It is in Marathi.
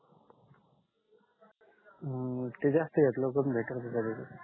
हम्म ते जास्त घेतल पण भे टल का बरोबर